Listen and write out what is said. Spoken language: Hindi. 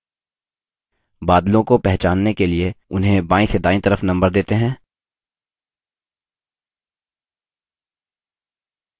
बादलों को पहचानने के लिए उन्हें बायीं से दायीं तरफ number देते हैं